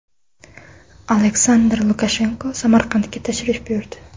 Aleksandr Lukashenko Samarqandga tashrif buyurdi.